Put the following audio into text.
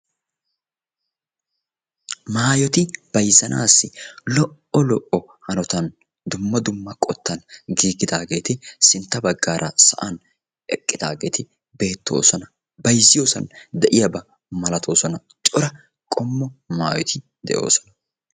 maayoti bayzzanassi lo''o hanotan dumma dumma qottan giigidaageeti sintta baggaara sa'an eqqidaageeti beettoosona. bayzziyoosan de'iyaaba malatoosona. cora qommo maayoti de'oosona.